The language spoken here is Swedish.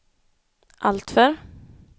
alltför